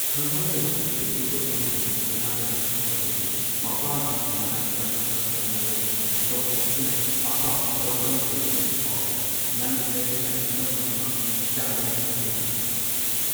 ꯈꯪꯍꯧꯗꯅ ꯄꯤꯛꯂꯤꯕ ꯎꯃꯥꯅ ꯊꯧꯅ ꯂꯩꯅ ꯁꯥꯎꯔꯤꯕꯗꯤ ꯃꯄꯥꯒꯤ ꯃꯅꯥꯛꯇ ꯃꯊꯧꯅꯥ ꯂꯩꯅꯥ ꯆꯣꯡꯊꯣꯛꯇꯨꯅ ꯑꯞꯄꯥ ꯂꯣꯛꯗꯥꯎꯟ ꯂꯣꯏꯗ꯭ꯔꯤ ꯄꯥꯎꯕ ꯅꯪ ꯍꯦꯔꯁ꯭ꯇꯥꯢꯜ ꯑꯅꯧꯕ ꯑꯃ ꯆꯥꯡꯌꯦꯡ ꯇꯧꯗꯅ?